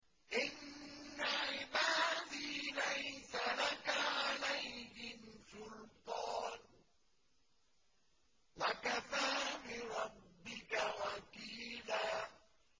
إِنَّ عِبَادِي لَيْسَ لَكَ عَلَيْهِمْ سُلْطَانٌ ۚ وَكَفَىٰ بِرَبِّكَ وَكِيلًا